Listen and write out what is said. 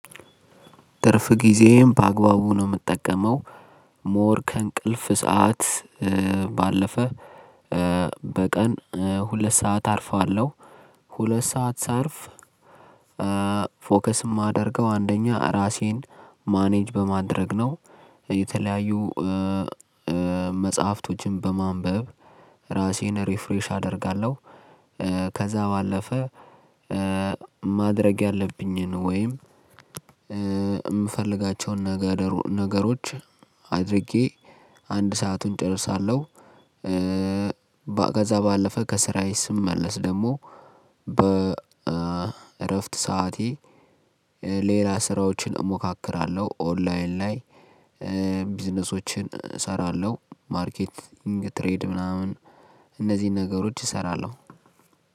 ትርፍ ጊዜም በአግባቡ ነው እምጠቀመው ሞር ከእንቅልፍ ሰዓት ባለፈ በቀን ሁለት ሰዓት አርፋለሁ ሁለት ሰዓት ሳርፍ። ፎከስ እማደርገው አንደኛ ራሴን ማኔጅ በማድረግ ነው። የተለያዩ መጽሐፍቶችን በማንበብ ራሴን ሪፍሬሽ አደርጋለሁ። ከዛ ባለፈ ማድረግ ያለብኝን ወይም እምፈልጋቸውን ነገሮች አድርጌ አንድ ሰአቱን እጨርሳለሁ። ባገዛ ባለፈ ከስራዬ ስመለስ ደሞ በእረፍት ሰዓቴ ሌላ ስራዎችን እሞካክራለሁ። ኦንላይን ላይ ቢዝነሶችን እሰራለሁ ማርኬቲንግ ትሬድ ምናምን። እነዚህን ነገሮች እሰራለሁ።